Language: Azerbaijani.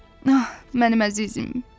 Ah, mənim əzizim.